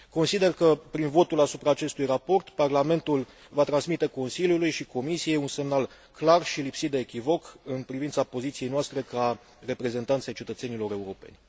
Consider că prin votul asupra acestui raport Parlamentul va transmite Consiliului și Comisiei un semnal clar și lipsit de echivoc în privința poziției noastre ca reprezentanți ai cetățenilor europeni.